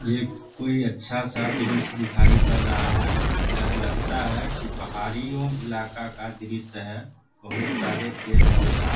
ये कोई अच्छा सा दृश्य दिखाई पड़ रहा है यह लगता है की पहाड़ियों इलाका का दृश्य है बहोत सारे पेड़-पौधा --